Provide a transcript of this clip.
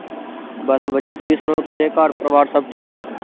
ਬਸ ਵਧੀਆ ਤੁਸੀਂ ਸੁਣਾਓ ਕਿਵੇ ਘਰ ਪਰਿਵਾਰ ਸਬ ਠੀਕ ਆ